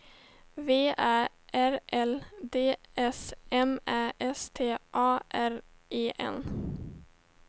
V Ä R L D S M Ä S T A R E N